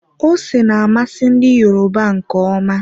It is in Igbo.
Ose na-amasị ndi Yoruba nke ọma.